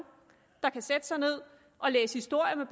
der kan sætte sig ned og læse historier med